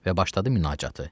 Və başladı münacatı.